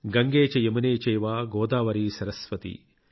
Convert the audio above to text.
గంగే చ యమునే చైవ గోదావరి సరస్వతి |